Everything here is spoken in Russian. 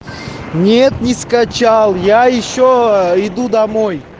нет не скачал я ещё иду домой